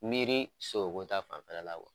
Miiri sogoko ta fanfɛ la